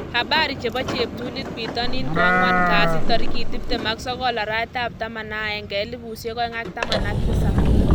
Habari chebo cheptulit bitonin koangwan kasi 29.11.2017